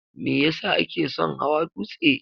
me yesa kake son hawa dutse?